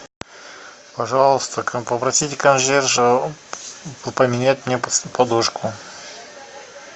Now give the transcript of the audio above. пожалуйста попросите консьержа поменять мне подушку